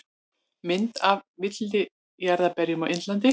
Mynd af villijarðarberjum á Indlandi.